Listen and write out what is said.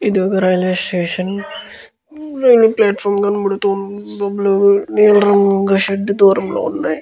ఇదొక railway station . Railway platform కనబడుతుంది. నీలం రంగు షెడ్ దూరంగా ఉంది.